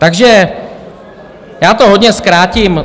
Takže já to hodně zkrátím.